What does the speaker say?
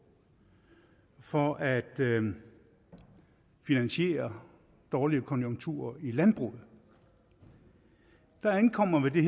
for at finansiere dårlige konjunkturer i landbruget der indkommer ved det